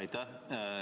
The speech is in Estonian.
Aitäh!